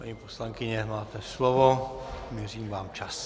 Paní poslankyně, máte slovo, měřím vám čas.